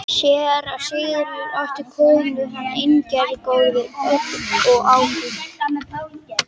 Séra Sigurður átti góða konu, Ingigerði, dóttur Ásgerðar og Ágústs